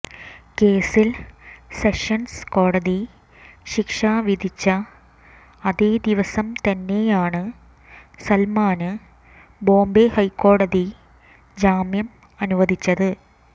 കേസിൽ സെഷൻസ് കോടതി ശിക്ഷ വിധിച്ച അതേദിവസം തന്നെയാണ് സൽമാന് ബോംബെ ഹൈക്കോടതി ജാമ്യം അനുവദിച്ചത്